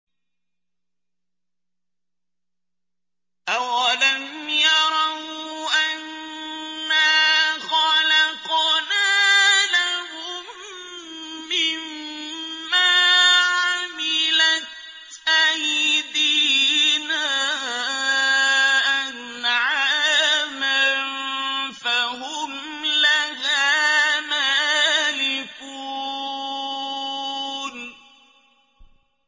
أَوَلَمْ يَرَوْا أَنَّا خَلَقْنَا لَهُم مِّمَّا عَمِلَتْ أَيْدِينَا أَنْعَامًا فَهُمْ لَهَا مَالِكُونَ